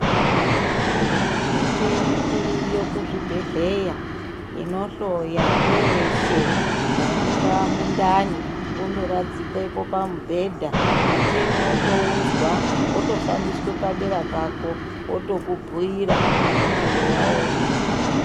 Michini iriyo kuzvibhedhlera inohloya peshe peshe dai kungava mundani kungorapa kutoradzikwa pamubhedha michini kungoudzwa wotofambiswa padera pako otokubhuira zvaunenge waona.